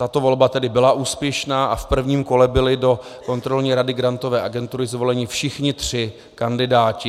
Tato volba tedy byla úspěšná a v prvním kole byli do Kontrolní rady Grantové agentury zvoleni všichni tři kandidáti.